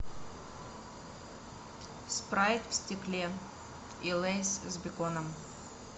спрайт в стекле и лейс с беконом